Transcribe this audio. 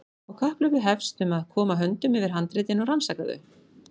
Og kapphlaupið hefst um að koma höndum yfir handritin og rannsaka þau.